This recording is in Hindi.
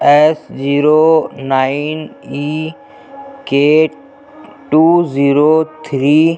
S zero nine E K two zero three --